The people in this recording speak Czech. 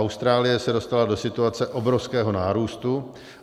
Austrálie se dostala do situace obrovského nárůstu.